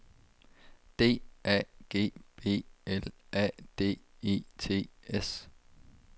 D A G B L A D E T S